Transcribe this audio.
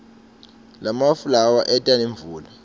lamafu lawa eta nemvula